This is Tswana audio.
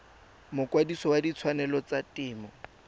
mokwadise wa ditshwanelo tsa temo